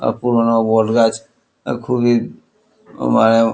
পুরোনো বটগাছ খুবই মানে ।